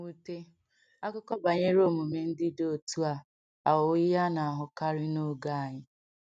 O di nwute, akụkọ banyere omume ndị dị otú a aghọwo ihe a na-ahụkarị n’oge anyị.